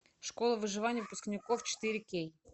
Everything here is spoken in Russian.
школа выживания выпускников четыре кей